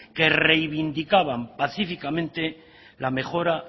que reivindicaban pacíficamente la mejora